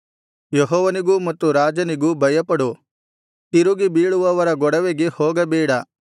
ಮಗನೇ ಯೆಹೋವನಿಗೂ ಮತ್ತು ರಾಜನಿಗೂ ಭಯಪಡು ತಿರುಗಿಬೀಳುವವರ ಗೊಡವೆಗೆ ಹೋಗಬೇಡ